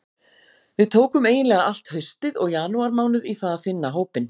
Við tókum eiginlega allt haustið og janúarmánuð í það að finna hópinn.